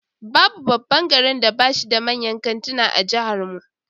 Babu babban garin da bashi da manyan kantuna a jihar mu